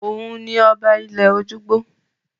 Òun ni ọba ilẹ̀-ojúgbó.